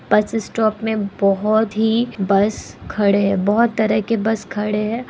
बस स्टॉप में बहुत ही बस खड़े है बहुत तरह के बस खड़े है।